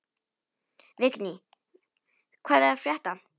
Vigný, hvað er að frétta?